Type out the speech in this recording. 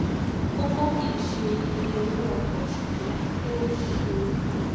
kókó kì í ṣe iye owó ọkọ̀ ṣùgbọ́n bó ṣe rọrùn láti san án.